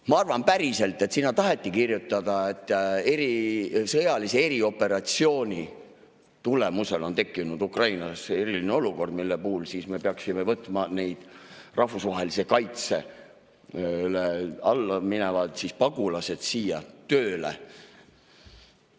Ma arvan päriselt, et sinna taheti kirjutada, et sõjalise erioperatsiooni tulemusel on tekkinud Ukrainas eriline olukord, mille puhul me siis peaksime võtma need rahvusvahelise kaitse alla minevad pagulased siia tööle.